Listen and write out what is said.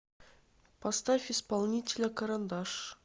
поставь исполнителя карандаш